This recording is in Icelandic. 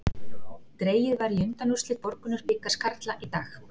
Dregið var í undanúrslit Borgunarbikars karla í dag.